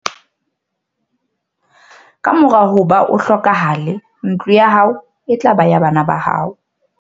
Ka mora hoba o hlokahale ntlo ya hao e tla ba ya bana ba hao.